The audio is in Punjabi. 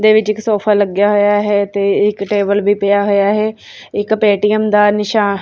ਦੇ ਵਿੱਚ ਇੱਕ ਸੋਫਾ ਲੱਗਿਆ ਹੋਇਆ ਹੈ ਤੇ ਇੱਕ ਟੇਬਲ ਵੀ ਪਿਆ ਹੋਇਆ ਹੈ ਇੱਕ ਪੇਟੀਐਮ ਦਾ ਨਿਸ਼ਾਨ--